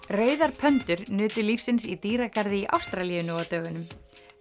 rauðar nutu lífsins í dýragarði í Ástralíu nú á dögunum